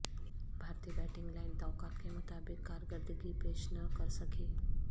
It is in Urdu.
بھارتی بیٹنگ لائن توقعات کے مطابق کارکردگی پیش نہ کر سکی